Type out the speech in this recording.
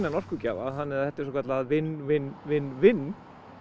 orkugjafa þannig að þetta er svokölluð win win win win